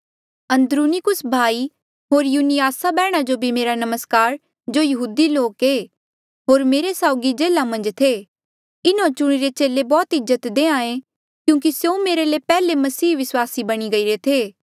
अन्द्रुनिकुस भाई होर युनियास बैहण जो भी मेरा नमस्कार जो यहूदी लोक ऐे होर मेरे साउगी जेल्हा मन्झ थे इन्हों चुणिरे चेले बौह्त इज्जत देहें क्यूंकि स्यों मेरे ले पैहले मसीह विस्वासी बणी गईरे थे